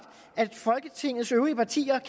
at folketingets øvrige partier